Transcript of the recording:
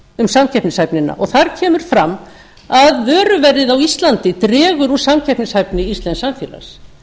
um samkeppnishæfnina og þar kemur fram að vöruverðið á íslandi dregur úr samkeppnishæfni íslensks samfélags